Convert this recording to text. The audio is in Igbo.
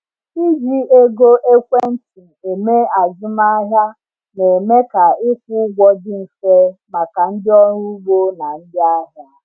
Iji ego ekwentị eme azụmahịa na-eme ka ịkwụ ụgwọ dị mfe maka ndị ọrụ ugbo na ndị ahịa.